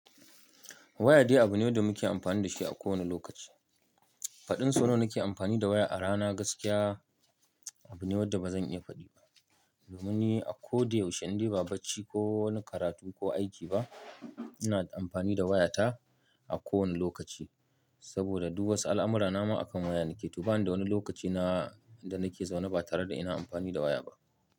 Waya dai abu ne da muke amfani da shi a kowane lokaci. Faɗin so nawa nake amfani da waya a rana gaskiya abu ne wanda ba zan iya faɗi ba. Domin ni a ko da yaushe in dai ba bacci ko wani karatu ko aiki ba ina amfani da wayata a kowane lokaci. Saboda duk wasu al'amura na ma akan waya nake. To bani da wani lokaci na da nake zaune ba tare da ina amfani da waya ba.